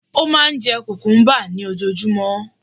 Ó máà ń jẹ cucumber ní ojoojúmọ́